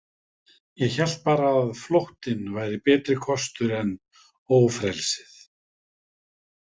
Ég hélt bara að flóttinn væri betri kostur en ófrelsið.